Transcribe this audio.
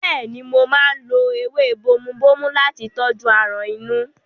Bẹ́ẹ̀ni, mo máa ń lo ewé bomubómú láti tọ́jú aràn inú.